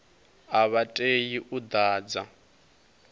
a vha tei u ḓadza